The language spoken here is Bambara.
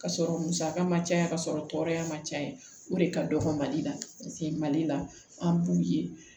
Ka sɔrɔ musaka ma caya ka sɔrɔ tɔɔrɔya ma caya o de ka dɔgɔ mali la paseke mali la an b'u ye